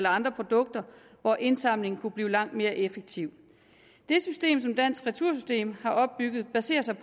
andre produkter hvor indsamlingen kunne blive langt mere effektiv det system som dansk retursystem har opbygget baserer sig